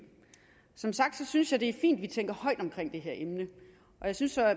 som sagt synes jeg at det er fint at vi tænker højt omkring det her emne jeg synes